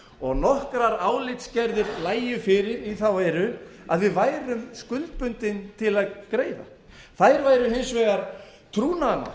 og nokkrar álitsgerðir lægju fyrir í þá veru að við værum skuldbundin til að greiða þær væru hins vegar trúnaðarmál